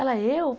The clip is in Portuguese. Ela, eu?